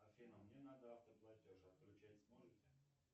афина мне надо автоплатеж отключать сможете